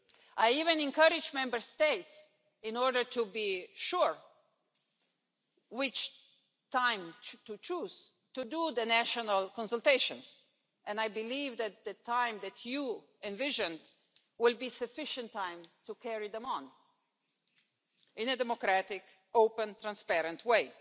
I even encourage Member States, in order to be sure which time to choose, to do the national consultations and I believe that the time that you envisioned will be sufficient time to carry them out in a democratic, open and transparent way.